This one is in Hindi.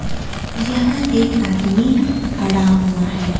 यहां एक आदमी खड़ा हुआ है।